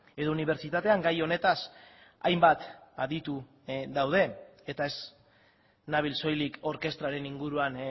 edo unibertsitatean gai honetaz hainbat aditu daude eta ez nabil soilik orkestraren inguruan